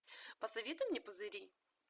посоветуй мне пузыри